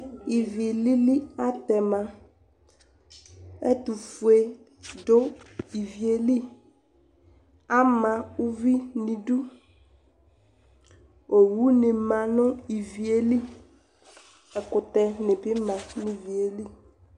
Ivi lili atɛma Ɛtʋfue dʋ ivi yɛ li Ama uvi nʋ idu Owunɩ ma nʋ ivi yɛ li, ɛkʋtɛnɩ bɩ ma nʋ ivi yɛ li